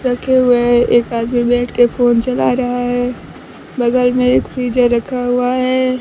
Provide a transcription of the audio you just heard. रखे हुए हैं एक आदमी बैठ के फोन चला रहा है बगल में एक फ्रिज है रखा हुआ है।